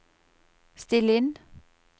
still inn